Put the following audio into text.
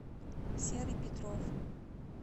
серый петров